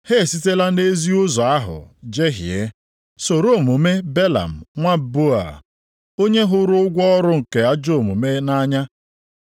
Ha esitela nʼezi ụzọ ahụ jehie, soro omume Belam nwa Beoa, onye hụrụ ụgwọ ọrụ nke ajọ omume nʼanya.